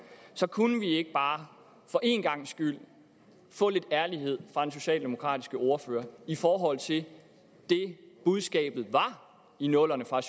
så kunne vi ikke bare for en gangs skyld få lidt ærlighed fra den socialdemokratiske ordfører i forhold til det budskabet var i nullerne fra